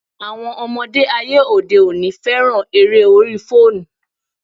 Àwọn ọmọdé ayé òde òní féràn eré orí fóònù.